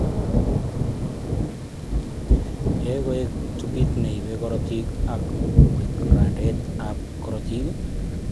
Yoe koet tubit neibe korotik ako wek rangdaet ab korotik